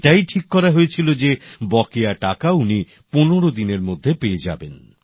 এটাই ঠিক করা হয়েছিল যে বকেয়া টাকা উনি ১৫ দিনের মধ্যে পেয়ে যাবেন